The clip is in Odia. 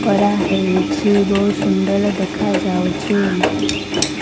ଖରା ହେଇଚି ବହୁତ ସୁନ୍ଦର ଦେଖାଯାଉଛି।